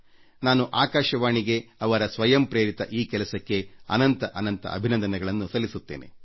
ನಾನು ಆಕಾಶವಾಣಿಗೆ ಅವರ ಸ್ವಯಂ ಪ್ರೇರಿತ ಈ ಕೆಲಸಕ್ಕೆ ನನ್ನ ಹೃದಯಾಂತರಾಳದಿಂದ ಮೆಚ್ಚುಗೆ ಸಲ್ಲಿಸುತ್ತೇನೆ